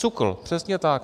SÚKL, přesně tak.